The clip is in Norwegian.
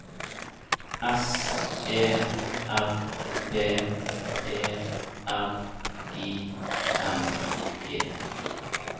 S E R V E R I N G